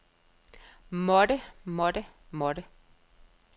måtte måtte måtte